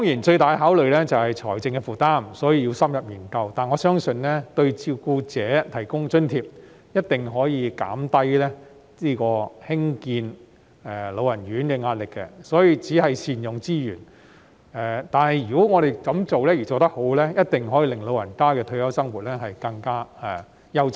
最大的考慮當然是財政負擔，所以要深入研究，但我相信為照顧者提供津貼，一定可以減低興建安老院舍的壓力，這是善用資源，如果做得好，一定可以令長者的退休生活更優質。